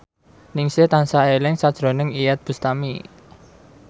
Ningsih tansah eling sakjroning Iyeth Bustami